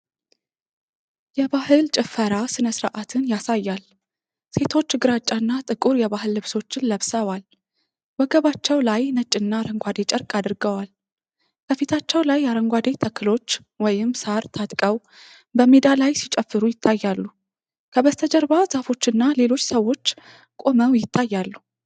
የባህል ጭፈራ ሥነ ሥርዓትን ያሳያል። ሴቶች ግራጫና ጥቁር የባህል ልብሶችን ለብሰዋል። ወገባቸው ላይ ነጭና አረንጓዴ ጨርቅ አድርገዋል። ከፊታቸው ላይ አረንጓዴ ተክሎች (ሳር) ታጥቀው በሜዳ ላይ ሲጨፍሩ ይታያሉ። ከበስተጀርባ ዛፎችና ሌሎች ሰዎች ቆመው ይታያሉ።